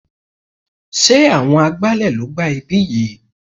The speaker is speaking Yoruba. Sé àwọn agbálẹ̀ ló gbá ibí yìí?